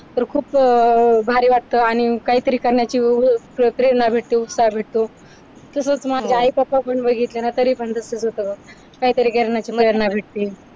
तर खूप अह भारी वाटतं आणि काहीतरी करण्याची वेगळी सक्रिय भेटते, उत्साह भेटतो तसेच माझे हो आई पण बघितले ना तसंच होतं बघ काहीतरी करण्याची प्रेरणा भेटते.